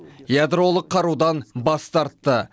ядролық қарудан бас тартты